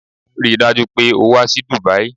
Rí i dájú o pé o wá sí Dubai!